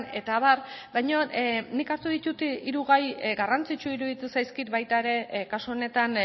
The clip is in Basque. eta abar baina nik hartu ditut hiru gai garrantzitsuak iruditu zaizkit baita ere kasu honetan